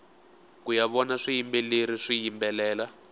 kuya vona swiyimbeleri swiyimbelela